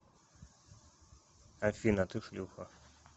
афина ты шлюха